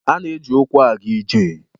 A na-eji ụkwụ aga ije